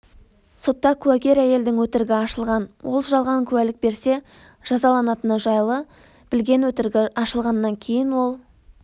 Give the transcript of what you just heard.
сотта куәгер әйелдің өтірігі ашылған ол жалған куәлік берсе жазаланатыны жайлы білген өтірігі ашылғаннан кейін ол